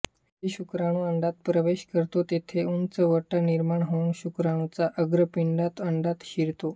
जेथे शुक्राणू अंडात प्रवेश करतो तेथे उंचवटा निर्माण होऊन शुक्राणूचा अग्रपिंड अंडात शिरतो